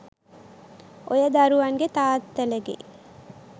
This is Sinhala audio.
ඔය දරුවන්ගෙ තාත්තලගෙ